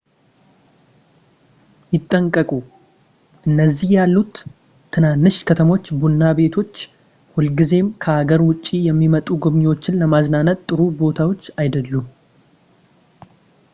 ይጠንቀቁ እዚህ ያሉት ትናንሽ ከተሞች ቡና ቤቶች ሁልጊዜም ከሀገር ውጭ የሚመጡ ጎብኚዎች ለመዝናናት ጥሩ ቦታዎች አይደሉም